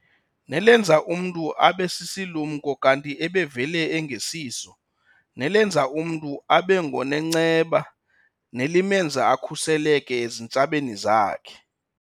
Nelenza umntu abe sisilumko kanti ebevele engesiso, nelenza umntu abe ngonenceba nelimenza akhuseleke ezintshabeni zakhe.